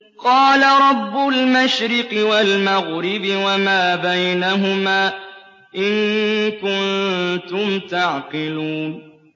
قَالَ رَبُّ الْمَشْرِقِ وَالْمَغْرِبِ وَمَا بَيْنَهُمَا ۖ إِن كُنتُمْ تَعْقِلُونَ